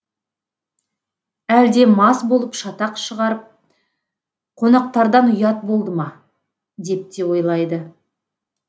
әлде мас болып шатақ шығарып қонақтардан ұят болды ма деп те ойлайды